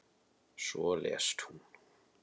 Svo lést hún.